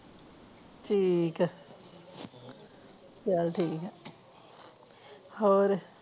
ਠੀਕ ਐ ਚੱਲ ਠੀਕ ਹੋਰ